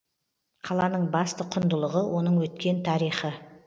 қаланың басты құндылығы оның өткен тарихы